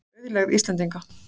Auðlegð Íslendinga.